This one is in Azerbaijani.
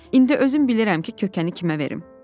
İndi özüm bilirəm ki, kökəni kimə verim.”